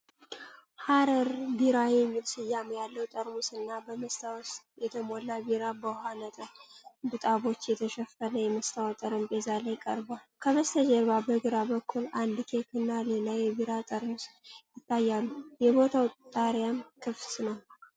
"ሐረር ቢራ" የሚል ስያሜ ያለው ጠርሙስ እና በመስታወት የተሞላ ቢራ በውኃ ነጠብጣቦች በተሸፈነ የመስታወት ጠረጴዛ ላይ ቀርቧል። ከበስተጀርባ በግራ በኩል አንድ ኬክ እና ሌላ የቢራ ጠርሙስ ይታያሉ፤ የቦታው ጣሪያም ክፍት ነው።